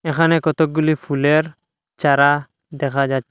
এখানে কতগুলি ফুলের চারা দেখা যাচ্ছ--